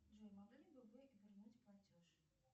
джой могли бы вы вернуть платеж